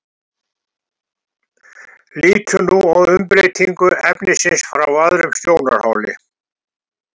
Lítum nú á umbreytingu efnisins frá öðrum sjónarhóli.